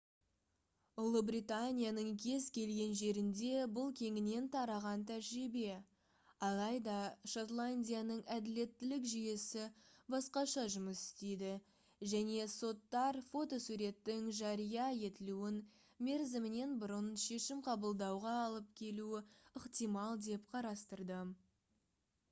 ұлыбританияның кез келген жерінде бұл кеңінен тараған тәжірибе алайда шотландияның әділеттілік жүйесі басқаша жұмыс істейді және соттар фотосуреттің жария етілуін мерзімінен бұрын шешім қабылдауға алып келуі ықтимал деп қарастырды